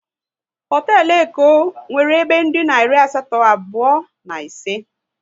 Hotelu Eko nwere ebe dina iri asatọ, abụọ na ise